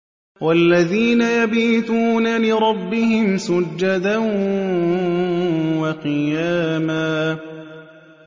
وَالَّذِينَ يَبِيتُونَ لِرَبِّهِمْ سُجَّدًا وَقِيَامًا